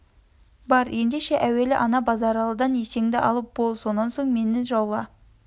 бар ендеше әуелі ана базаралыдан есенді алып бол да сонан соң мені жаула